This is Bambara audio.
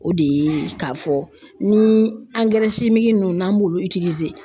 O de ye k'a fɔ ni nunnu n'an b'olu